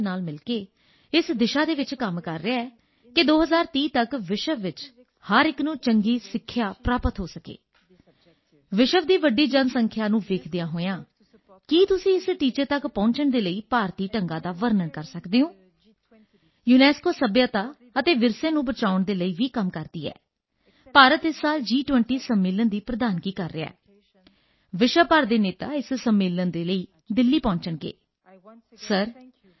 namaste excellency dear prime minister on ਬੇਹਲਫ of UNESCO I thank you for this opportunity to be part of the 100th episode of the Mann ki Baat radio broadcast UNESCO and India have a long common history we have very strong partnerships together in all areas of our mandate education science culture and information and I would like to take this opportunity today to talk about the importance of education UNESCO is working with its member states to ensure that everyone in the world has access to quality education by 2030